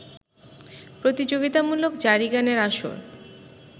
প্রতিযোগিতামূলক জারিগানের আসর